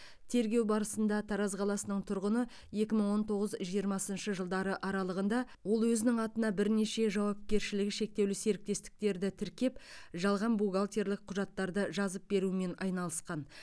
тергеу барысында тараз қаласының тұрғыны екі мың он тоғыз жиырмасыншы жылдары аралығында ол өзінің атына бірнеше жауапкершілігі шектеулі серіктестігі тіркеп жалған бухгалтерлік құжаттарды жазып берумен айналысқан